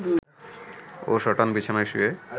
ও সটান বিছানায় শুয়ে